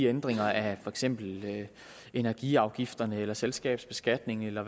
ændringer af for eksempel energiafgifterne eller selskabsbeskatningen eller